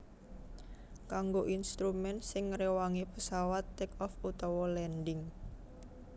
Kanggo instrumen sing ngréwangi pesawat take off utawa landing